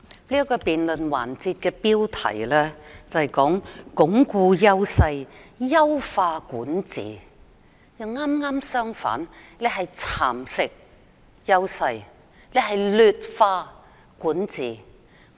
這個辯論環節的標題，是"鞏固優勢、優化管治"，但事實卻剛好相反，是"蠶蝕優勢、劣化管治"。